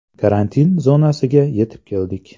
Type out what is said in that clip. Karantin zonasiga yetib keldik.